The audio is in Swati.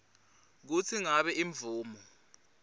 kutsi ngabe imvumo